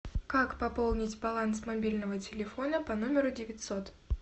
как пополнить баланс мобильного телефона по номеру девятьсот